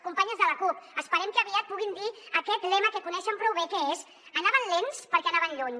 companyes de la cup esperem que aviat puguin dir aquest lema que coneixen prou bé que és anaven lents perquè anaven lluny